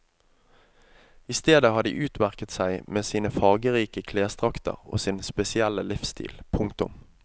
I stedet har de utmerket seg med sine fargerike klesdrakter og sin spesielle livsstil. punktum